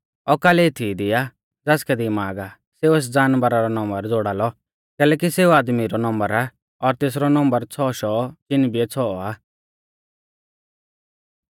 औकल एथीई दी आ ज़ासकै दिमाग आ सेऊ एस जानवरा रौ नम्बर ज़ोड़ा लौ कैलैकि सेऊ आदमी रौ नम्बर आ और तेसरौ नम्बर छ़ौ शौ चिन बिऐ छ़ौ आ